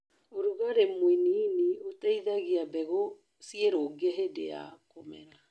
ũrugarĩ mũnini ũteithagie mbegũ cirũge hĩndĩ ya kũmera.